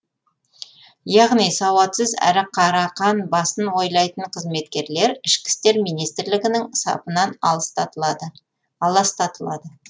яғни сауатсыз әрі қарақан басын ойлайтын қызметкерлер ішкі істер министрлігінің сапынан аластатылады